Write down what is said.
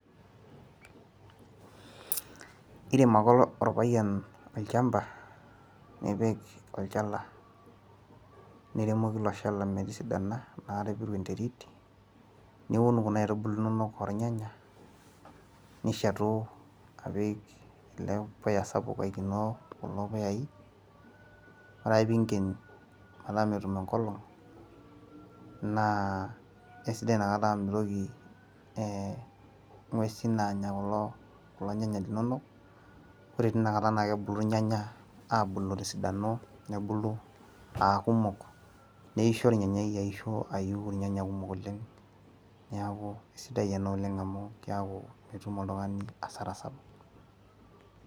irem ake olpayian olchampa, nipik olchala, niremoki ilo shampa naa metisidana naa peepiu enterit. niun kuna aitubulu inonok ollnyanya. nishetu apik ele puya sapuk oikenoo kulo puyai, ore ake pee inken metaa metum enkolong' naa eisidai ina kata amu mitoki ing'uesin aanya kulo nyanya linonok. ore teina kata naa kebulu kulo nyanya, aabulu te sidano nebulu aakumok nisho ornyanyai, ayiu irnyanya kumok oleng .neku kisida ena olenge amu keeku mitum oltungani asara sapuk.